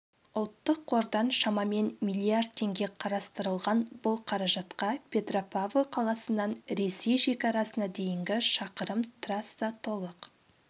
ұлттық қордан шамамен миллиард теңге қарастырылған бұл қаражатқа петропавл қаласынан ресей шекарасына дейінгі шақырым трасса толық